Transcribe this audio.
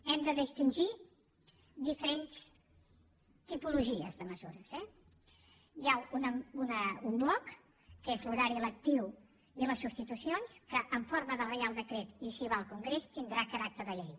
hem de distingir diferents tipologies de mesures eh hi ha un bloc que és l’horari lectiu i les substitucions que en forma de reial decret i si va al congrés tindrà caràcter de llei